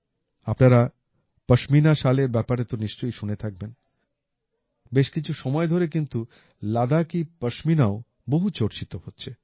আপনারা পাশমিনা শালের ব্যাপারে তো নিশ্চয়ই শুনে থাকবেন বেশ কিছু সময় ধরে কিন্তু লাদাকি পাশমিনাও বহু চর্চিত হচ্ছে